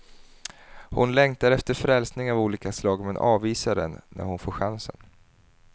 Hon längtar efter frälsning av olika slag men avvisar den när hon får chansen.